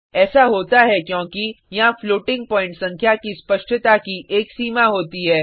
ऐसा होता है क्योंकि यहाँ फ्लोटिंग प्वाईंट संख्या की स्पष्टता की एक सीमा होती है